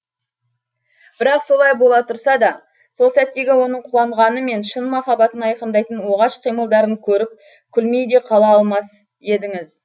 бірақ солай бола тұрса да сол сәттегі оның қуанғаны мен шын махаббатын айқындайтын оғаш қимылдарын көріп күлмей де қала алмас едіңіз